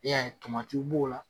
N'i y'a ye b'o la